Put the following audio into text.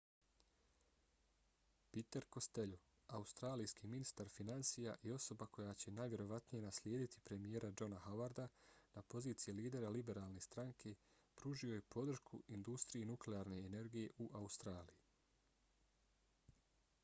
peter costello australijski ministar finansija i osoba koja će najvjerovatnije naslijediti premijera johna howarda na poziciji lidera liberalne stranke pružio je podršku industriji nuklearne energije u australiji